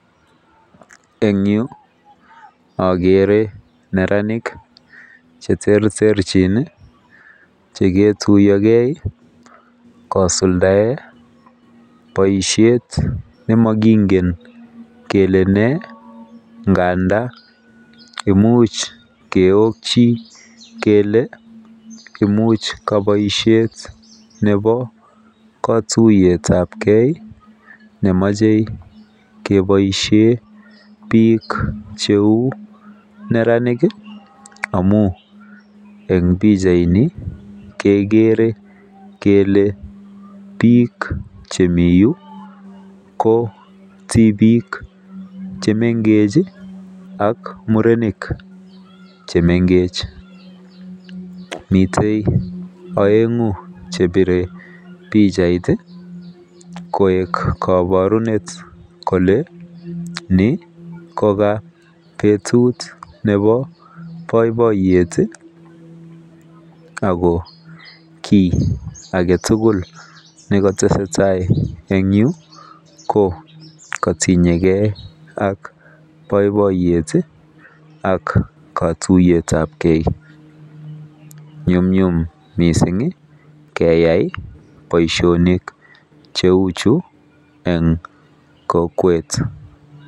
En Yu agere neranik cheterterchin chekiruiuo gei kosulda baishet nemakingen kole ne ngandan muchkeokin kele imuch baishet Nebo katuiyet ab gei nemache kebaishen bik cheu neranik amun en bichait Ni kegere Kole bik chemiyu ko tibik chemengech ak murenik chemekech miten aengu chebire bichait koek kabarunet Kole Ni koka betut Nebo baibaiyet ako ki agetugul nekatestai en Yu ko katinye gei ak baibaiyet ak katuiyet ab gei ak konyumnyumun mising keyai Baishonik cheu chu en kokwet